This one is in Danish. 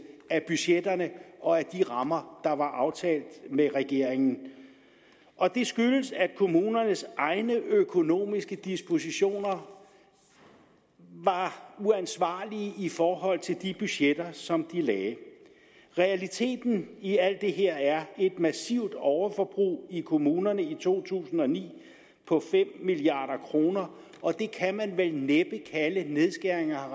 af budgetterne og af de rammer der var aftalt med regeringen og det skyldtes at kommunernes egne økonomiske dispositioner var uansvarlige i forhold til de budgetter som de lagde realiteten i alt det her er et massivt overforbrug i kommunerne i to tusind og ni på fem milliard kr og det kan man vel næppe kalde nedskæringer